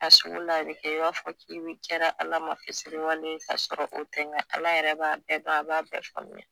A sugu la a bi kɛ i n'a fɔ i bi kɛra ALA ma fitiriwale ye k'a sɔrɔ o tɛ ALA yɛrɛ b'a bɛɛ dɔn a b'a bɛɛ faamuya.